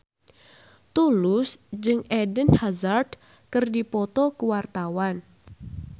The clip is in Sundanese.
Tulus jeung Eden Hazard keur dipoto ku wartawan